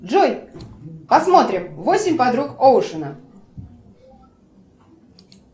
джой посмотрим восемь подруг оушена